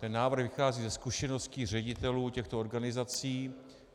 Ten návrh vychází ze zkušeností ředitelů těchto organizací.